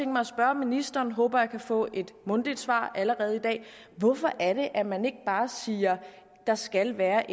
mig at spørge ministeren håber jeg kan få et mundtligt svar allerede i dag hvorfor er det at man ikke bare siger at der skal være